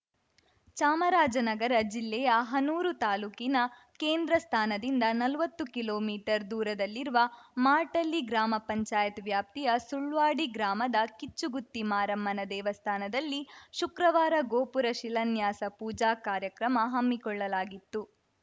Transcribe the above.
ಚಾಮರಾಜನಗರ ಜಿಲ್ಲೆಯ ಹನೂರು ತಾಲೂಕಿನ ಕೇಂದ್ರ ಸ್ಥಾನದಿಂದ ನಲ್ವತ್ತು ಕಿಲೋ ಮೀಟರ್‌ ದೂರದಲ್ಲಿರುವ ಮಾರ್ಟಳ್ಳಿ ಗ್ರಾಮ ಪಂಚಾಯತ್ ವ್ಯಾಪ್ತಿಯ ಸುಳ್ವಾಡಿ ಗ್ರಾಮದ ಕಿಚ್ಚುಗುತ್ತಿ ಮಾರಮ್ಮನ ದೇವಸ್ಥಾನದಲ್ಲಿ ಶುಕ್ರವಾರ ಗೋಪುರ ಶಿಲಾನ್ಯಾಸ ಪೂಜಾ ಕಾರ್ಯಕ್ರಮ ಹಮ್ಮಿಕೊಳ್ಳಲಾಗಿತ್ತು